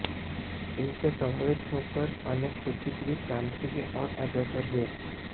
इनसे प्रभावित होकर अनेक बुद्धिजीवी क्रांति की ओर अग्रसर हुए